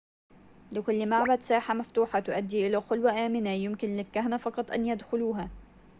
لكل معبد ساحة مفتوحة تؤدي إلى خلوة آمنة يمكن للكهنة فقط أن يدخلوها